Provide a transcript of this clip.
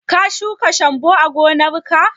Ka shuka shambo a gonar ka?